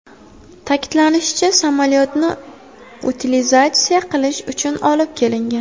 Ta’kidlanishicha, samolyotni utilizatsiya qilish uchun olib kelingan.